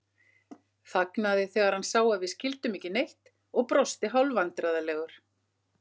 Þagnaði þegar hann sá að við skildum ekki neitt og brosti hálfvandræðalegur.